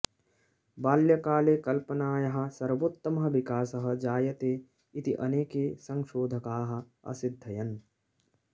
बाल्यकाले कल्पनायाः सर्वोत्तमः विकासः जायते इति अनेके संशोधकाः असिद्धयन्